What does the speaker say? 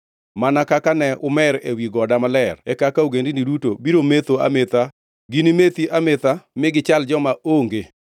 Mana kaka ne umer ewi goda maler e kaka ogendini duto, biro metho ametha, ginimeth ametha ma ginichal joma onge.